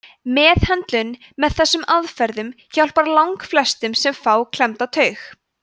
meðhöndlun með þessum aðferðum hjálpar langflestum sem fá klemmda taug